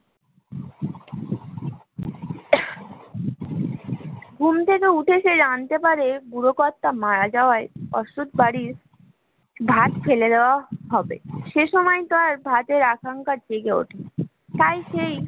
ঘুম থেকে উঠে ছে জানতে পারে বুড়ো কর্তা মারা যাওয়ার ওষুধ বাড়ির ভাত ফেলে দেওয়া হবে, সেই সময়তার ভাতের আশঙ্কা জেগে উঠে তাই সেই